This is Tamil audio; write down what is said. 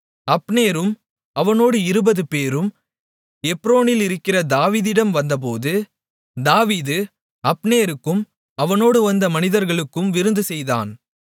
அப்னேரும் அவனோடு 20 பேரும் எப்ரோனிலிருக்கிற தாவீதிடம் வந்தபோது தாவீது அப்னேருக்கும் அவனோடு வந்த மனிதர்களுக்கும் விருந்துசெய்தான்